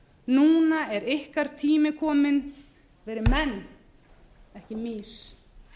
núna er ykkur tími kominn verið menn ekki mýs